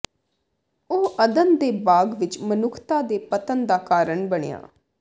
ਉਹ ਅਦਨ ਦੇ ਬਾਗ਼ ਵਿਚ ਮਨੁੱਖਤਾ ਦੇ ਪਤਨ ਦਾ ਕਾਰਨ ਬਣਿਆ